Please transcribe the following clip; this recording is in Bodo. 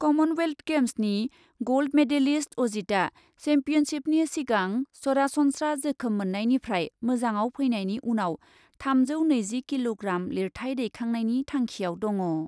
कमनवेल्थ गेम्सनि ग'ल्ड मेडेलिस्ट अजितआ सेम्पियनशिपनि सिगां सरासनस्रा जोखोम मोन्नायनिफ्राय मोजांआव फैनायनि उनाव थामजौ नैजि किल'ग्राम लिरथाय दैखांनायनि थांखिआव दङ।